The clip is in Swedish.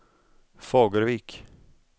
Fagervik